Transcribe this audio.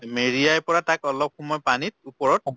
মেৰিয়াই পৰা তাক অলপ সময় পানীত উপৰত